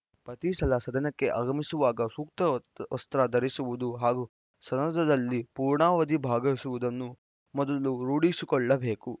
ಪ್ರತಿ ಸಲ ಸದನಕ್ಕೆ ಆಗಮಿಸುವಾಗ ಸೂಕ್ತ ವಸ್ತ್ರ ಧರಿಸುವುದು ಹಾಗೂ ಸದನದಲ್ಲಿ ಪೂರ್ಣಾವಧಿ ಭಾಗವಹಿಸುವುದನ್ನು ಮೊದಲು ರೂಢಿಸಿಕೊಳ್ಳಬೇಕು